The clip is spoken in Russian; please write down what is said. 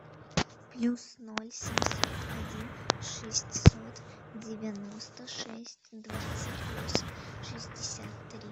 плюс ноль семьсот один шестьсот девяносто шесть двадцать восемь шестьдесят три